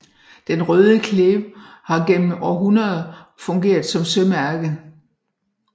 Den Røde Klev har gennem århundreder fungeret som sømærke